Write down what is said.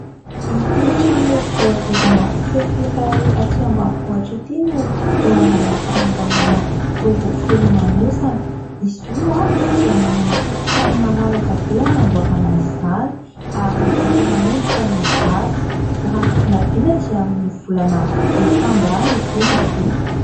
Ity trano, voadidina fefy iray aty ambanivohatra ity, no eo andàlam-panamboarana dobo filomanosana. Izy io dia manana tokontany malalaka be hanamboarana izany ary efa manomboka ny asa. Raha ny vinavina dia amin'ny volana desambra any izy io no vita.